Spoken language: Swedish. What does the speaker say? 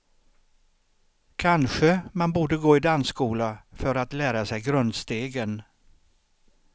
Kanske man borde gå i dansskola för att lära sig grundstegen.